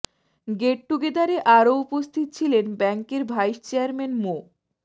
gate টুগেদারে আরো উপস্থিত ছিলেন ব্যাংকের ভাইস চেয়ারম্যান মো